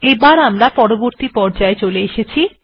আবার আমি পর্রবর্তী পর্যায় চলে এসেছি